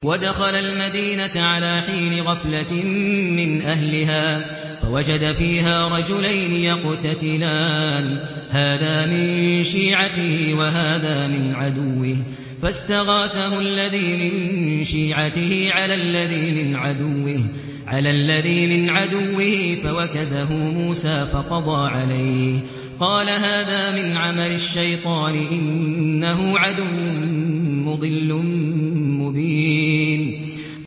وَدَخَلَ الْمَدِينَةَ عَلَىٰ حِينِ غَفْلَةٍ مِّنْ أَهْلِهَا فَوَجَدَ فِيهَا رَجُلَيْنِ يَقْتَتِلَانِ هَٰذَا مِن شِيعَتِهِ وَهَٰذَا مِنْ عَدُوِّهِ ۖ فَاسْتَغَاثَهُ الَّذِي مِن شِيعَتِهِ عَلَى الَّذِي مِنْ عَدُوِّهِ فَوَكَزَهُ مُوسَىٰ فَقَضَىٰ عَلَيْهِ ۖ قَالَ هَٰذَا مِنْ عَمَلِ الشَّيْطَانِ ۖ إِنَّهُ عَدُوٌّ مُّضِلٌّ مُّبِينٌ